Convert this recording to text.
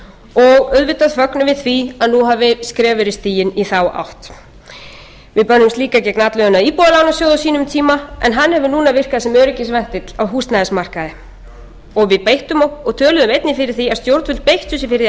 og auðvitað fögnum við því að nú hafi skref verið stigin í þá átt við börðumst líka gegn atlögunni að íbúðalánasjóði á sínum tíma en hann hefur núna virkað sem öryggisventill á húsnæðismarkaði við töluðum einnig fyrir því að stjórnvöld beittu sér fyrir því að